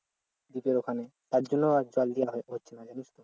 deep এর ওখানে তার জন্য আর জল দেয়া হচ্ছে না জানিস তো